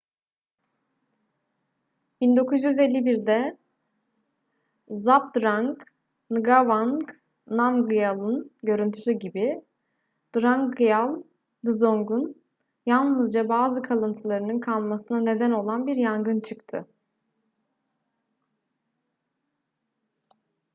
1951'de zhabdrung ngawang namgyal'ın görüntüsü gibi drukgyal dzong'un yalnızca bazı kalıntılarının kalmasına neden olan bir yangın çıktı